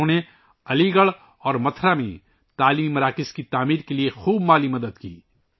انہوں نے علی گڑھ اور متھرا میں تعلیمی مراکز کی تعمیر کے لئے کافی مالی مدد کی